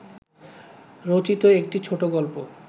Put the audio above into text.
রচিত একটি ছোটোগল্প